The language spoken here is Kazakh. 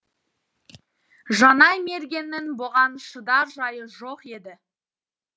жанай мергеннің бұған шыдар жайы жоқ еді